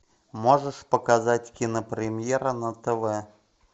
можешь показать кинопремьера на тв